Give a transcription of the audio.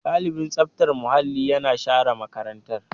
Ɗalibin tsaftar muhalli yana share makarantar.